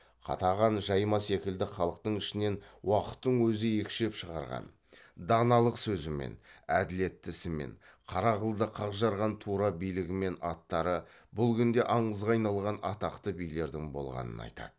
қатаған жайма секілді халықтың ішінен уақыттың өзі екшеп шығарған даналық сөзімен әділетті ісімен қара қылды қақ жарған тура билігімен аттары бұл күнде аңызға айналған атақты билердің болғанын айтады